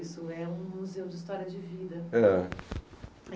Isso é um museu de história de vida. Ah